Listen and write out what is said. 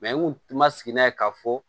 n kun ma sigi n'a ye ka fɔ